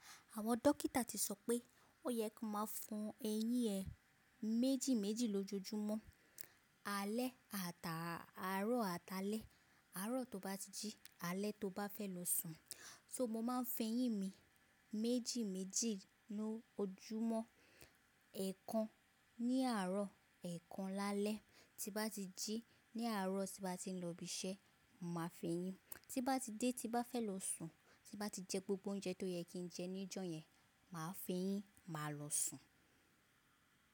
Àwọn dókítà ti sọ pé o yẹ kó máa fo eyín ẹ méjì méjì lójoojúmọ́ alẹ́ àtà, àárọ̀ àti alẹ́. Àárọ̀ tó bá ti jí, alẹ́ tó bá fẹ́ lọ sùn. So mo máa ń fẹyín mi méjì méjì lójoojúmọ́. Ẹ̀kan ní àárọ̀, ẹ̀kan lálẹ́. Tí n bá ti jí ní àárọ̀ tí n bá ti ń lọ ibi iṣẹ́, mo màá fẹyín. Tí n bá ti dé tí n bá fẹ́ lọ sùn, tí n bá ti jẹ gbogbo oúnjẹ tó yẹ kí n jẹ níjọ́ yẹn, màá fẹyín, màá lọ sùn.